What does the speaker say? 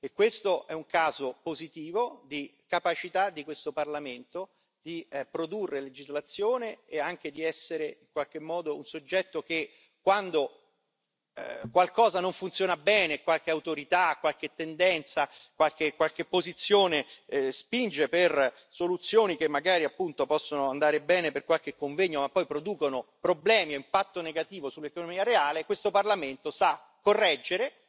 E questo è un caso positivo di capacità di questo Parlamento di produrre legislazione e anche di essere, in qualche modo, un soggetto che quando qualcosa non funziona bene, qualche autorità, qualche tendenza, qualche posizione, soluzioni che magari possono andare bene per qualche convegno ma poi producono problemi e impatto negativo sull'economia reale, questo Parlamento sa correggere